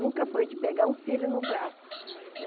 Nunca foi de pegar um filho no braço.